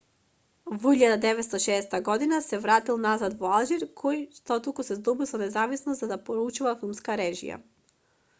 во 1960 година се вратил назад во алжир кој штотуку се здобил со независност за да подучува филмска режија